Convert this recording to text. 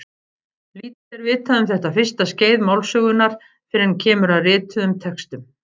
Lítið er vitað um þetta fyrsta skeið málsögunnar fyrr en kemur að rituðum textum.